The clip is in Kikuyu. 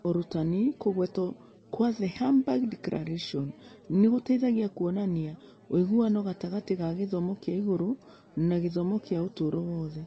Ũrutani, Kũgwetwo kwa The Hamburg Declaration nĩ gũteithagia kuonania ũiguano gatagatĩ ga gĩthomo kĩa igũrũ na gĩthomo kĩa ũtũũro wothe.